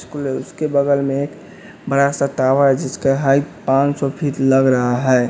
School है उसके बगल में एक बड़ा सा टावर है जिसका हाइट पांच सौ फीट लग रहा है।